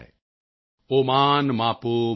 ਅਮ੍ਰਿਤਕਮ੍ ਧਾਤ ਤੋਕਾਯ ਤਨਯਾਯ ਸ਼ੰ ਯੋ